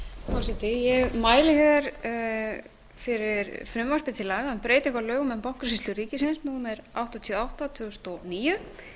forseti ég mæli fyrir frumvarpi til laga um breytingu á lögum um bankasýslu ríkisins númer áttatíu og átta tvö þúsund og níu